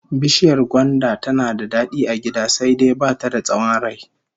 Bishiyar gwanda tana da dadi a gida, sai dai ba ta da tsawon rai